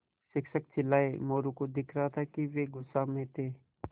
शिक्षक चिल्लाये मोरू को दिख रहा था कि वे गुस्से में थे